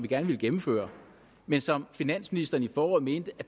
gerne ville gennemføre men som finansministeren i foråret mente der